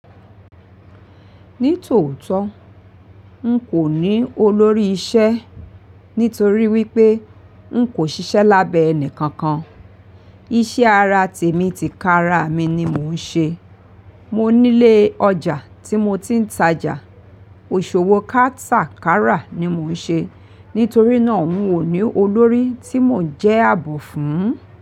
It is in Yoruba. Ní tòótọ́, n kò ní olórí isẹ́ nítorí wípé n kò sisẹ́ lábẹ́ ẹni kankan. Iṣẹ́ ara tèmi ti ká ara mi ni mò ń ṣe. Mò nílé ọjà tí mo ti ń tajà, òṣòowó kátàkárà ni mò ń ṣe. Nítorí náà n ò ní olórí tí mò ń jẹ́ àbò fún.